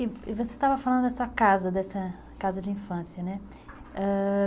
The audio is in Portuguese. E você estava falando da sua casa, dessa casa de infância, né? Ãh...